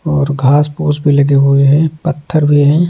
और घास पोस भी लगे हुए हैं पत्थर भी हैं।